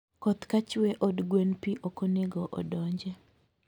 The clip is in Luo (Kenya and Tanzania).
Koth kachwee od gwen pii okonego odonje